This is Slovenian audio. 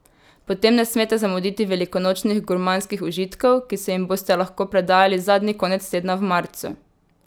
Potem ne smete zamuditi velikonočnih gurmanskih užitkov, ki se jim boste lahko predajali zadnji konec tedna v marcu!